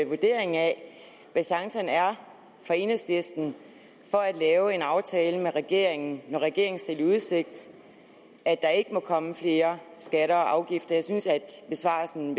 vurdering af hvad chancerne er for enhedslisten for at lave en aftale med regeringen når regeringen stiller i udsigt at der ikke må komme flere skatter og afgifter jeg synes at besvarelsen